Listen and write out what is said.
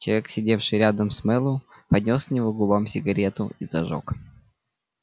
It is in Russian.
человек сидевший рядом с мэллоу поднёс к его губам сигару и зажёг